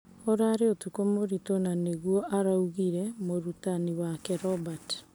Ũrarũ ũtukũ mũritũ nĩguo araugire mũrutani wake Robert.